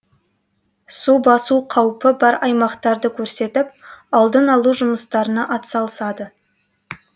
елді мекендердегі су басу қаупі бар аймақтарды көрсетіп алдын алу жұмыстарына атсалысады